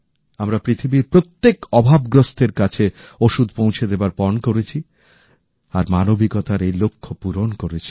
আমরা পৃথিবীর প্রত্যেক অভাবগ্রস্তের কাছে ওষুধ পৌঁছে দেবার পণ করেছি আর মানবিকতার এই লক্ষ্য পূরণ করেছি